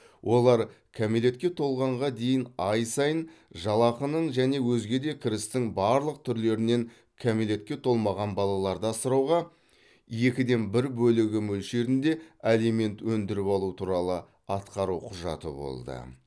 олар кәмелетке толғанға дейін ай сайын жалақының және өзге де кірістің барлық түрлерінен кәмелетке толмаған балаларды асырауға екі ден бір бөлігі мөлшерінде алимент өндіріп алу туралы атқару құжаты болды